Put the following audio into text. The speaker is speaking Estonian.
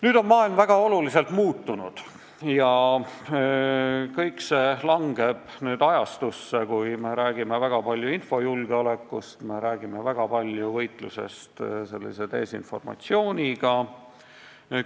Nüüd on maailm väga oluliselt muutunud ja kõik see toimub ajastus, kui me räägime väga palju infojulgeolekust ja võitlusest desinformatsiooniga.